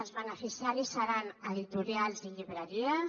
els beneficiaris seran editorials i llibreries